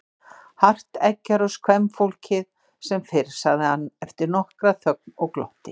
Hart eggjar oss kvenfólkið sem fyrr, sagði hann eftir nokkra þögn og glotti.